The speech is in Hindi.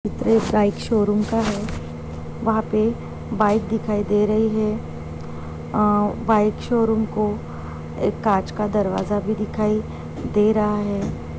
एक बाइक शोरूम का है वहा पे बाइक दिखाई दे रही है अ बाइक शोरूम को एक कांच का दरवाजा भी दिखाई दे रहा है।